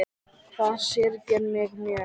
Það syrgir mig mjög.